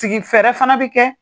Sigi fɛrɛ fana bɛ kɛ